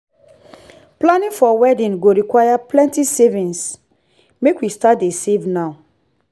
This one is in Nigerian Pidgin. planning for wedding go require plenty savings make we start dey save now.